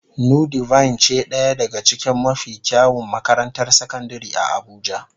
Nudivine ce daya daga cikin mafi kyawun makarantar sakandare a abuja.